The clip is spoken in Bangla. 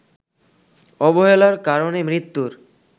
অবহেলার কারণে মৃত্যুর